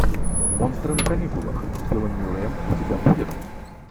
монстры на каникулах с биллом мюрреем у тебя будет